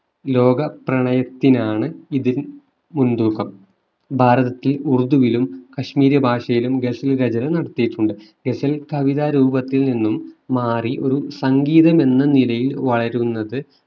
ലോക പ്രണയത്തിലാണ് ഇതിൽ മുൻതൂക്കം ഭാരതത്തിൽ ഉർദുവിലും കാശ്മീരി ഭാഷയിലും ഗസൽ രചന നടത്തിയിട്ടുണ്ട് ഗസൽ കവിത രൂപത്തിൽ നിന്നും മാറി ഒരു സംഗീതം എന്ന നിലയിൽ വളരുന്നത്